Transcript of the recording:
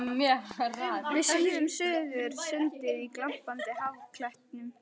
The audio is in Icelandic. Við svífum suður sundið á glampandi haffletinum.